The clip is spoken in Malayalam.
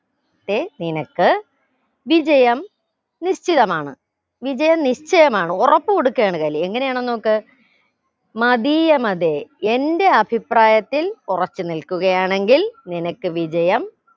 തെ നിനക്ക് വിജയം നിശ്ചയമാണ് വിജയം നിശ്ചയമാണ് ഉറപ്പ് കൊടുക്കയാണ് കലി എങ്ങനെയാണെന്ന് നോക്ക് മതീയമതെ എന്റെ അഭിപ്രായത്തിൽ ഉറച്ചു നിൽക്കുകയാണെങ്കിൽ നിനക്ക് വിജയം